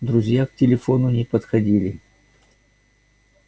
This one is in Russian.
друзья к телефону не подходили